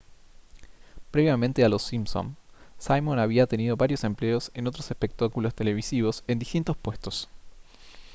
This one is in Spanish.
previamente a los simpson simon había tenido varios empleos en otros espectáculos televisivos en distintos puestos